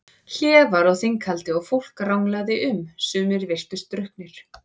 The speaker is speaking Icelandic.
Hlé var á þinghaldi og fólk ranglaði um, sumir virtust drukknir.